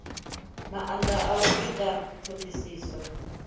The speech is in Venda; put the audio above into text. maanda a u ita thodisiso